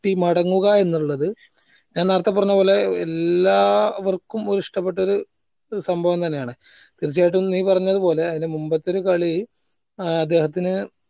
ട്ടി മടങ്ങുക എന്നുള്ളത് ഞാൻ നേരെത്തെ പറഞ്ഞപോലെ എല്ലാവർക്കും ഒര് ഇഷ്ടപ്പെട്ടൊരു സംഭവം തന്നെ ആണ് തീർച്ചയായിട്ടും നീ പറഞ്ഞത് പോലെ അയിന്റെ മുമ്പത്തെ ഒരു കളി ഏർ അദ്ദേഹത്തിന്